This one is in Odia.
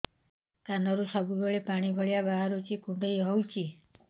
କାନରୁ ସବୁବେଳେ ପାଣି ଭଳିଆ ବାହାରୁଚି କୁଣ୍ଡେଇ ହଉଚି